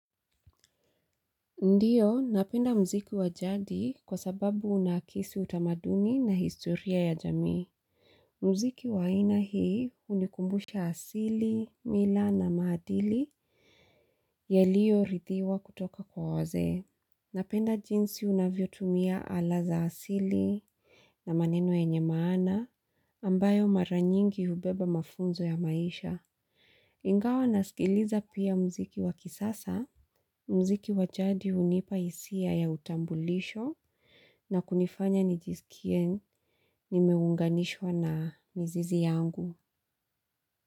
Ndiyo, napenda mziki wa jadi kwa sababu unahakisi utamaduni na historia ya jamii. Mziki wa aina hii unikumbusha asili, mila na mahadili yaliyo rithiwa kutoka kwa wasee. Napenda jinsi unavyo tumia ala za asili na maneno yenye maana ambayo mara nyingi ubeba mafunzo ya maisha. Ingawa nasikiliza pia mziki wakisasa, mziki wa jadi unipa hisia ya utambulisho na kunifanya nijisikie nimeunganishwa na mizizi yangu.